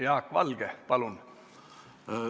Jaak Valge, palun!